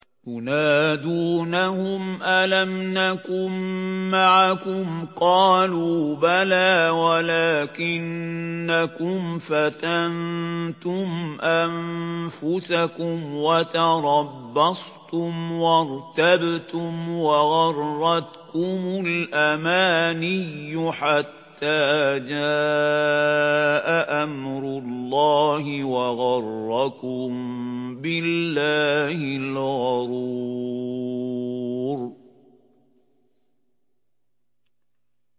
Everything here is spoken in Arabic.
يُنَادُونَهُمْ أَلَمْ نَكُن مَّعَكُمْ ۖ قَالُوا بَلَىٰ وَلَٰكِنَّكُمْ فَتَنتُمْ أَنفُسَكُمْ وَتَرَبَّصْتُمْ وَارْتَبْتُمْ وَغَرَّتْكُمُ الْأَمَانِيُّ حَتَّىٰ جَاءَ أَمْرُ اللَّهِ وَغَرَّكُم بِاللَّهِ الْغَرُورُ